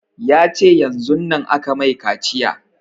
Ya ce yanzun nan aka mai kaciya